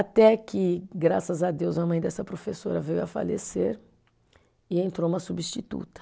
Até que, graças a Deus, a mãe dessa professora veio a falecer e entrou uma substituta.